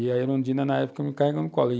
E a Erundina, na época, me carregou no colo.